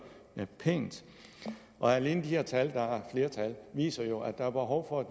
pænt alene de her tal og der flere tal viser jo at der er behov for at